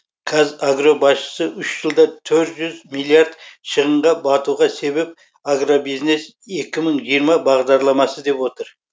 қазагро басшысы үш жылда төрт жүз миллиард шығынға батуға себеп агробизнес екі мың жиырма бағдарламасы деп отыр